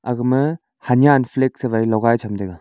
agma hanyan flag sawai logai cham taiga.